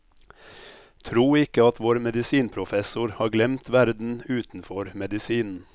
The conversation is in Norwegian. Tro ikke at vår medisinprofessor har glemt verden utenfor medisinen.